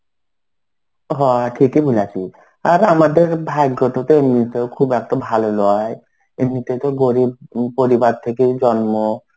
হ ঠিকই বলেছি. আর আমাদের ভাগ্য টুকু এমনিতেও খুব একটা ভালো নয় এমনি থেকে গরিব পরিবার থেকেই জন্ম.